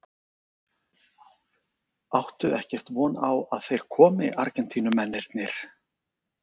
Áttu ekkert von á að þeir komi Argentínumennirnir?